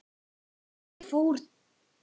Þau fór til kirkju.